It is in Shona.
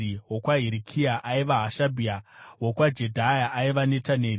wokwaHirikia, aiva Hashabhia; wokwaJedhaya, aiva Netaneri.